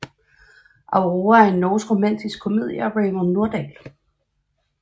Aurora er en norsk romantisk komedie af Raymond Nordahl